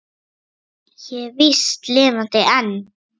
Ég er víst lifandi enn!